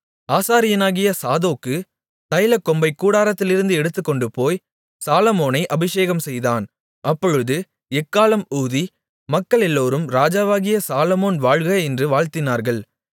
ஆசாரியனாகிய சாதோக்கு தைலக் கொம்பைக் கூடாரத்திலிருந்து எடுத்துக்கொண்டுபோய் சாலொமோனை அபிஷேகம்செய்தான் அப்பொழுது எக்காளம் ஊதி மக்களெல்லோரும் ராஜாவாகிய சாலொமோன் வாழ்க என்று வாழ்த்தினார்கள்